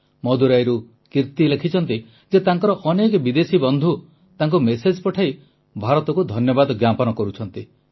ମଦୁରାଇରୁ କିର୍ତୀ ଲେଖିଛନ୍ତି ଯେ ତାଙ୍କର ଅନେକ ବିଦେଶୀ ବନ୍ଧୁ ତାଙ୍କୁ ମେସେଜ ପଠାଇ ଭାରତକୁ ଧନ୍ୟବାଦ ଜ୍ଞାପନ କରୁଛନ୍ତି